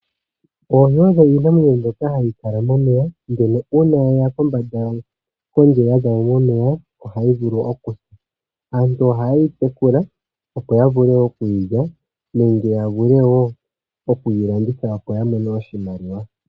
Oohi odho iinamwenyo mbyoka hayi kala momeya, ndele uuna yeya kondje yaza mo momeya ohayi vulu okusa. Aantu ohaye yi tekula po ya vule okuyi lya nenge ya vule wo okuyi landithwa opo ya mone oshimaliwa.